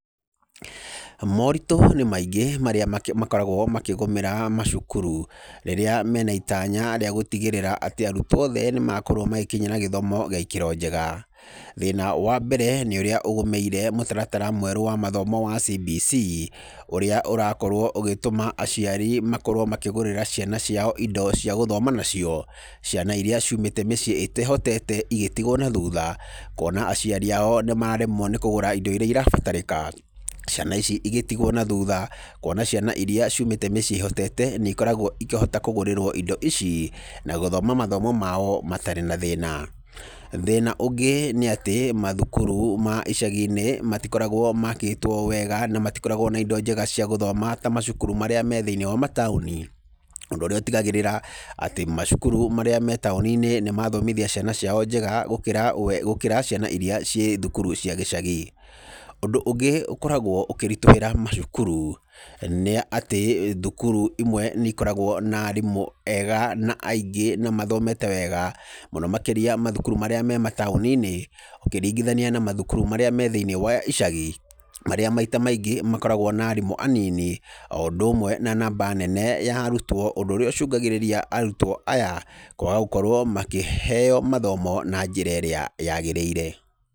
Moritũ nĩ maingĩ marĩa makoragwo makĩgũmĩra macukuru rĩrĩa me na itanya rĩagũtigĩrĩra atĩ arutwo othe nĩmakorwo magĩkinyĩra gĩthomo gĩa ikĩro njega.Thĩna wa mbere, nĩ ũrĩa ũgũmĩire mũtaratara mwerũ wa mathomo wa CBC, ũrĩa ũrakorwo ũgĩtũma aciari makorwo makĩgũrĩra ciana ciao indo cia gũthoma nacio, ciana iria ciumĩte mĩciĩ ĩrĩa ĩtehotete igĩtigwo na thutha, kuona aciari ao nĩmaremwo nĩ kũgũra indo iria irabatarĩka, ciana ici igĩtigwo na thutha kuona ciana iria ciumĩte mĩciĩ ĩrĩa ĩhotete ikoragwo ikĩgũrĩrwo indo ici na gũthoma mathomo mao matarĩ na thĩna. Thĩna ũngĩ nĩ atĩ mathukuru ma icagi-inĩ matikoragwo maakĩtwo wega na matikoragwo na indo njega cia gũthoma ta macukuru maria me thĩiniĩ wa ma taũni, ũndũ ũrĩa ũtigagĩrĩra macukuru marĩa marĩ taũni-inĩ nĩmathomithia ciana cio njega gũkĩra ciana irĩa cirĩ thukuru cia gĩcagi. Ũndũ ũngĩ ũkoragwo ũkĩritũhĩra macukuru, nĩ atĩ thukuru imwe nĩikoragwo na arimũ ega na aingĩ na mathomete wega mũno makĩria mathukuru marĩa marĩ mataũni-inĩ, ũkĩringithania na macukuru marĩa me thĩiniĩ wa icagi, marĩa maita maingĩ makoragwo na arimũ anini, o ũndũ ũmwe na namba nene ya arutwo ũndũ ũrĩa ũcũngagĩrĩria arutwo aya kwaga gũkorwo makĩheyo mathomo na njĩra ĩrĩa yagĩrĩire.